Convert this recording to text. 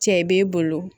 Cɛ b'e bolo